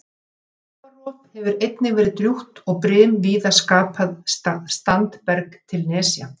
Sjávarrof hefur einnig verið drjúgt og brim víða skapað standberg til nesja.